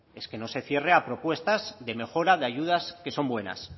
es que no se cierre a propuestas de mejora de ayudas que son buenas